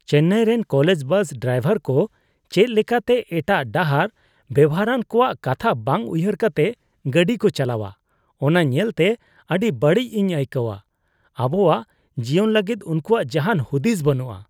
ᱪᱮᱱᱱᱟᱭ ᱨᱮᱱ college bus driver ᱠᱚ ᱪᱮᱫ ᱞᱮᱠᱟᱛᱮ ᱮᱴᱟᱜ ᱰᱟᱦᱟᱨ ᱵᱮᱣᱦᱟᱨᱟᱱ ᱠᱚᱣᱟᱜ ᱠᱟᱛᱷᱟ ᱵᱟᱝ ᱩᱭᱦᱟᱹᱨ ᱠᱟᱛᱮ ᱜᱟᱹᱰᱤ ᱠᱚ ᱪᱟᱞᱟᱣᱟ ᱚᱱᱟ ᱧᱮᱞᱛᱮ ᱟᱹᱰᱤ ᱵᱟᱹᱲᱤᱡ ᱤᱧ ᱟᱹᱭᱠᱟᱹᱜᱼᱟ ᱾ ᱟᱵᱚᱣᱟᱜ ᱡᱤᱭᱚᱱ ᱞᱟᱹᱜᱤᱫ ᱩᱱᱠᱩᱣᱟᱜ ᱡᱟᱦᱟᱱ ᱦᱩᱫᱤᱥ ᱵᱟᱹᱱᱩᱜᱼᱟ ᱾